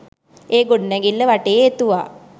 ඒ ගොඩනැගිල්ල වටේ එතුවා.